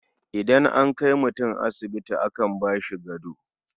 Idan an kai mutum asibiti akan ba shi gado.